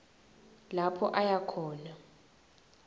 lapho aya khona